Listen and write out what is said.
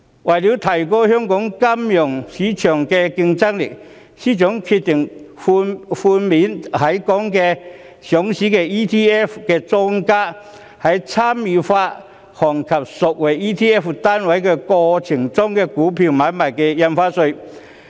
為了提高香港金融市場的競爭力，司長決定在參與發行及贖回 ETF 單位的過程中，寬免在港上市的 ETF 的莊家的股票買賣印花稅。